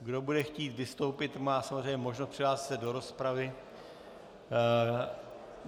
Kdo bude chtít vystoupit, má samozřejmě možnost přihlásit se do rozpravy.